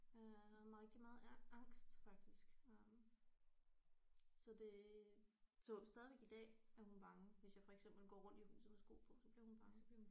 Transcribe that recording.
Øh havde meget rigtig meget angst faktisk øh så det så stadigvæk i dag er hun bange hvis jeg for eksempel går rundt i huset med sko på så bliver hun bange